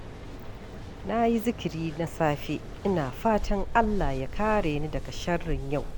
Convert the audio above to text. Na yi zikiri na safe, ina fatan Allah ya kare ni daga sharrin yau.